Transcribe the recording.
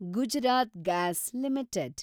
Gujarat gas limited